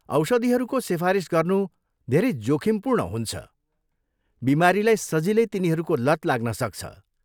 औषधिहरूको सिफारिस गर्नु धेरै जोखिमपूर्ण हुन्छ, बिमारीलाई सजिलै तिनीहरूको लत लाग्न सक्छ।